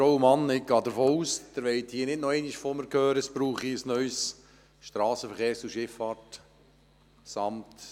Ich gehe davon aus, dass Sie nicht noch einmal von mir hören wollen, dass es ein neues SVSA braucht.